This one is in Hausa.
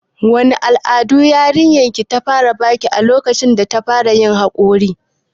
Wane alamu yarinyar ki ta fara baki lokacin data fara yin haƙori?